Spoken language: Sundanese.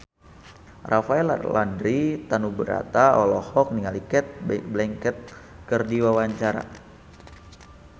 Rafael Landry Tanubrata olohok ningali Cate Blanchett keur diwawancara